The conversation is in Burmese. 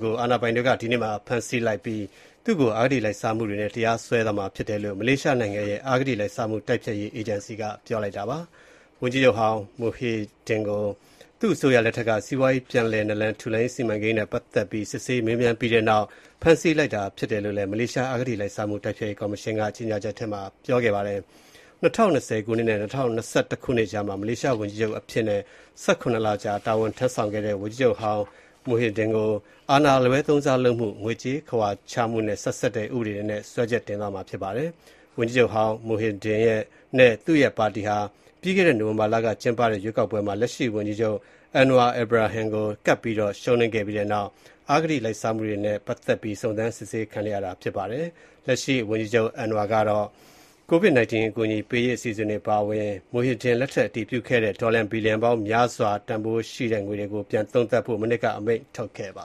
ကို အာဏာပိုင်တွေက ဒီနေ့မှာ ဖမ်းဆီးလိုက်ပြီး၊ သူ့ကို အဂတိလိုက်စားမှုတွေနဲ့ တရားစွဲဆိုသွားမှာ ဖြစ်တယ်လို့ မလေးရှားနိုင်ငံရဲ့ အဂတိလိုက်စားမှုတိုက်ဖျက်ရေး အေဂျင်စီက ပြောလိုက်ပါတယ်။ ဝန်ကြီးချုပ်ဟောင်း Muhyiddin ကို သူ့အစိုးရလက်ထက်က စီးပွားရေးပြန်လည်နလန်ထူရေးစီမံကိန်း နဲ့ပတ်သက်ပြီး စစ်ဆေးမေးမြန်းခဲ့ပြီးတဲ့နောက်၊ ဖမ်းဆီးလိုက်တာဖြစ်တယ်လို့ မလေးရှားအဂတိလိုက်စားမှုတိုက်ဖျက်ရေးကော်မရှင်က ကြေငြာချက်ထဲမှာ ပြောထားပါတယ်။ ၂၀၂၀ နဲ့ ၂၀၂၁ ခုနှစ်ကြားမှာ မလေးရှားဝန်ကြီးချုပ်အဖြစ်နဲ့ ၁၇ လ ကြာတာဝန်ထမ်းဆောင်ခဲ့တဲ့ ဝန်ကြီးချုပ်ဟောင်း Muhyiddin ကို အာဏာအလွဲသုံးစားလုပ်မှု၊ ငွေကြေးခဝါချမှုနဲ့ ဆက်စပ်တဲ့ ဥပဒေတွေနဲ့ စွဲချက်တင်သွားမှာဖြစ်ပါတယ်။ ဝန်ကြီးချုပ်ဟောင်း Muhyiddin နဲ့ သူ့ရဲ့ပါတီဟာ ပြိးခဲ့တဲ့ နိုဝင်ဘာလက ကျင်းပခဲ့တဲ့ ရွေးကောက်ပွဲမှာ လက်ရှိဝန်ကြီးချုပ် Anwar Ibrahim ကို ကပ်ပြီးတော့ ရှုံးနိမ့်ပြီးတဲ့နောက် အဂတိလိုက်စားမှုတွေနဲ့ပတ်သက်ပြီး စုံစမ်းစစ်ဆေးခံနေရတာဖြစ်ပါတယ်။ လက်ရှိဝန်ကြီးချုပ် Anwar ကတော့ ကိုဗစ် ၁၉ အကူအညီပေးရေးအစီအစဉ်တွေအပါအဝင် Muhyiddin လက်ထက်က အတည်ပြုခဲ့တဲ့ ဒေါ်လာဘီလျံပေါင်းများစွာတန်တဲ့ အစိုးရစီမံကိန်းတွေကို ပြန်ပြီးတော့ သုံးသပ်ဖို့ မနှစ်က အမိန့်ထုတ်ခဲ့ပ